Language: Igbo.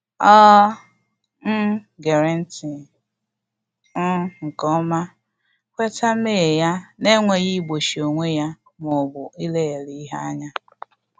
Ọ um ghere nti um nke ọma, kweta mmehie ya n’enweghị igbochi onwe ya ma ọ bụ ileghara ihe anya